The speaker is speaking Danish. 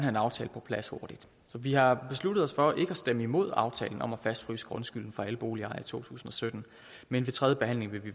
en aftale på plads hurtigt så vi har besluttet os for ikke at stemme imod aftalen om at fastfryse grundskylden for alle boligejere i to tusind og sytten men ved tredje behandling vil vi